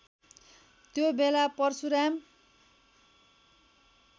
त्यो बेला परशुराम